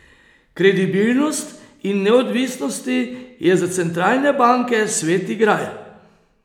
Kredibilnost in neodvisnosti je za centralne banke sveti gral.